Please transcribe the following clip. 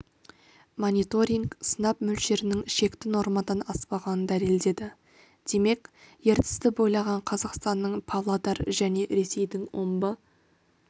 мониторинг сынап мөлшерінің шекті нормадан аспағанын дәлелдеді демек ертісті бойлаған қазақстанның павлодар және ресейдің омбы